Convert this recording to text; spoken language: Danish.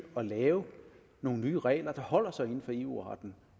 at lave nogle nye regler der holder sig inden for eu retten